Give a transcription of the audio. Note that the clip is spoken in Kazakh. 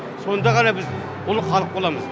сонда ғана біз ұлы халық боламыз